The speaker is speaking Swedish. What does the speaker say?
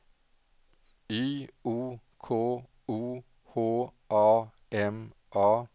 Y O K O H A M A